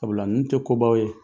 Sabula ninnu tɛ kobaw ye.